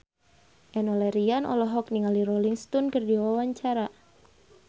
Enno Lerian olohok ningali Rolling Stone keur diwawancara